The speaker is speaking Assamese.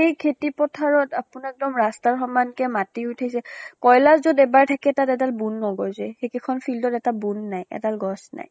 সেই খেতি পথাৰত আপোনাক এক্দম ৰাস্তাৰ সমানকে মাটি ওঠিছে , কয়্লা যত এবাৰ থাকে তাত এডাল বেন নগজে। এইকেইখন field ত এটা বুন নাই, এডাম গছ নাই।